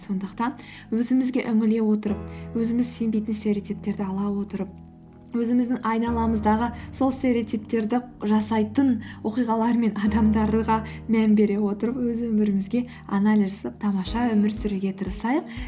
сондықтан өзімізге үңіле отырып өзіміз сенбейтін стереотиптерді ала отырып өзіміздің айналамыздағы сол стереотиптерді жасайтын оқиғалар мен адамдарға мән бере отырып өз өмірімізге анализ жасап тамаша өмір сүруге тырысайық